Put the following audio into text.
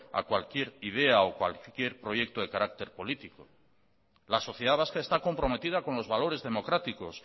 a cualquier idea o cualquier proyecto de carácter político la sociedad vasca está comprometida con los valores democráticos